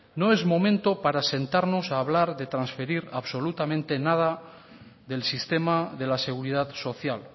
no es momento para sentarnos a hablar de transferir absolutamente nada del sistema de la seguridad social